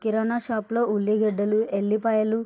కిరాణా shop లో ఉల్లి గడ్డలు ఎల్లిపాయలు.